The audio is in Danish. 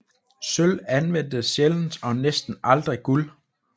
Sølv anvendtes sjældent og næsten aldrig guld